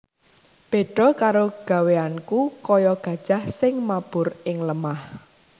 Béda karo gawéyanku kaya gajah sing mabur ing lemah